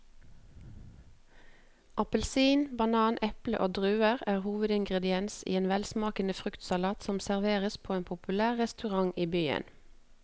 Appelsin, banan, eple og druer er hovedingredienser i en velsmakende fruktsalat som serveres på en populær restaurant i byen.